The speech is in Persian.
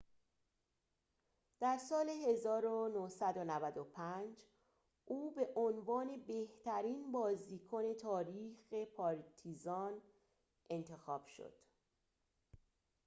در سال ۱۹۹۵ او به عنوان بهترین بازیکن تاریخ پارتیزان انتخاب شد